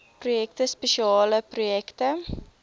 projekte spesiale projekte